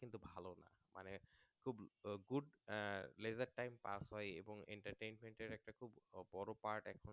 আহ Laser type pass হয় এবং Entertainment একটা খুব বড়ো Part